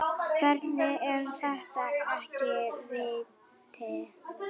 Hvernig er þetta ekki víti?